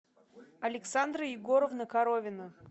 александра егоровна коровина